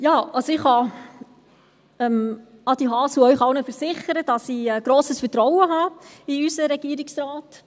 Ja, also ich kann Adi Haas und Ihnen allen versichern, dass ich grosses Vertrauen habe in unseren Regierungsrat.